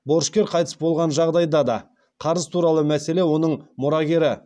борышкер қайтыс болған жағдайда қарыз туралы мәселе оның мұрагері